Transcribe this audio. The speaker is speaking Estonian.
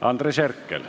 Andres Herkel.